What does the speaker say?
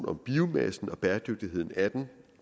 om biomassen og bæredygtigheden af den